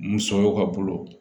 Musoyaw ka bolo